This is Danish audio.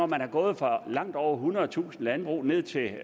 man er gået fra langt over ethundredetusind landbrug ned til